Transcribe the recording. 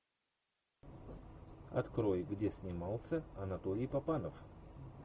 открой где снимался анатолий папанов